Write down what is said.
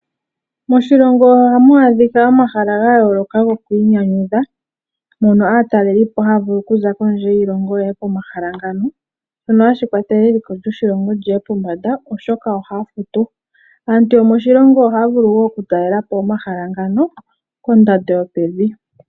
Moshilongo ohamu adhika omahala ga yooloka goku inyanyudha. Mono aatalelipo haya vulu oku za kondje yiilongo yeye komahala ngano . Shono hashi kwathele eliko lyoshilongo liye pombanda oshoka ohaya futu . Aantu yomoshilongo ohaya vulu woo oku talelapo omahala ngano kondando yopevi.